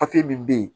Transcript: min bɛ yen